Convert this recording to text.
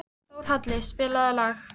Þórhalli, spilaðu lag.